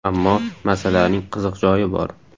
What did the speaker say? Ammo masalaning qiziq joyi bor.